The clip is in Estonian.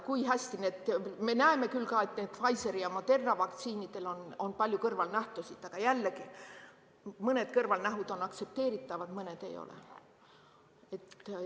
Me näeme küll ka, et Pfizeri ja Moderna vaktsiinidel on palju kõrvalnähtusid, aga jällegi, mõned kõrvalnähud on aktsepteeritavad, mõned ei ole.